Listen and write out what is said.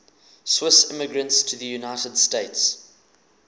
swiss immigrants to the united states